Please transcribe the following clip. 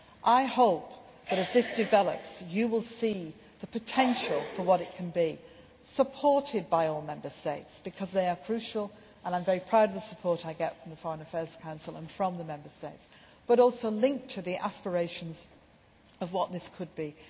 to go. I hope that, as this develops, you will see the potential for what it can be, supported by all Member States, because they are crucial and I am very proud of the support I get from the Foreign Affairs Council and from the Member States but also linked to the aspirations of what this